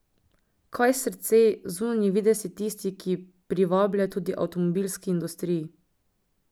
Kaj srce, zunanji videz je tisti, ki privablja, tudi v avtomobilski industriji.